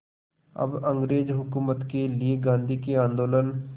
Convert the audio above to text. अब अंग्रेज़ हुकूमत के लिए गांधी के आंदोलन